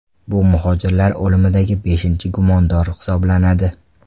Bu muhojirlar o‘limidagi beshinchi gumondor hisoblanadi.